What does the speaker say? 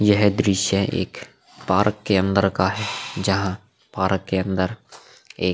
यह दृश्य एक पार्क के अंदर का है। जहां पार्क के अंदर एक --